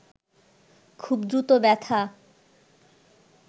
খুব দ্রুত ব্যথা